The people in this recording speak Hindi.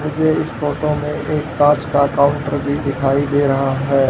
मुझे इस फोटो में एक कांच का काउंटर भी दिखाई दे रहा है।